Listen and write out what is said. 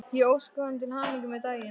Ég óskaði honum til hamingju með daginn.